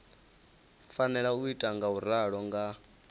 fanela u ita ngauralo nga